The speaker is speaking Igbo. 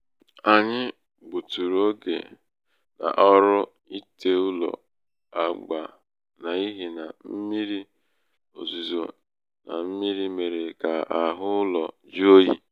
anyị gbuturu oge gbuturu oge n'ọrụ ite ụlọ agba n' ihi na mmírí ozuzo na mmírí mere ka ahụ ụlọ jụọ oyi.